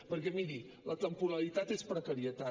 perquè miri la temporalitat és precarietat